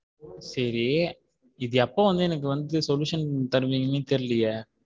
சரி இது எப்போ வந்து எனக்கு வந்து sollution தருவீங்கன்னே தெரியலையே.